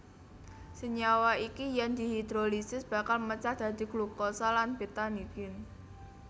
Senyawa iki yen dihidrolisis bakal mecah dadi glukosa lan betanidin